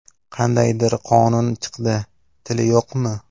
Qandaydir qonun chiqdi: - Tili yo‘qmi?